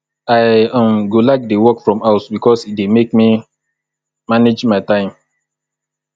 i um go like dey work from house bikos e dey make me manage my time